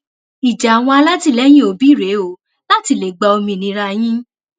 ìjà àwọn alátìlẹyìn òbí rèé o láti lè gba òmìnira yín